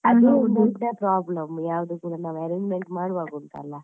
ಅದು ದೊಡ್ಡ problem ಯಾವಾಗಲು ಕೂಡ ನಾವು arrangement ಮಾಡುವಾಗ ಉಂಟಲ್ಲ.